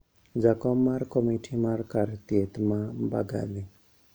Jakom mar komiti mar kar theith ma Mbagathi